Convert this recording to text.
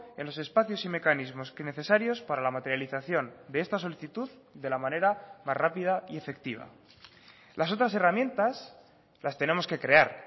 en los espacios y mecanismos que necesarios para la materialización de esta solicitud de la manera más rápida y efectiva las otras herramientas las tenemos que crear